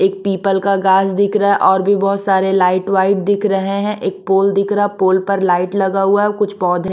एक पीपल का घास दिख रहा है और भी बहुत सारे लाइट वाइट दिख रहे हैं एक पोल दिख रहा है पोल पर लाइट लगा हुआ है कुछ पौधे--